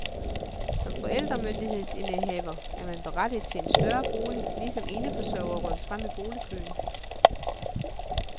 Som forældremyndighedsindehaver er man berettiget til en større bolig, ligesom eneforsørgere rykkes frem i boligkøen.